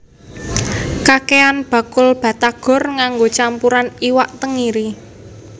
Kakehan bakul batagor nganggo campuran iwak tenggiri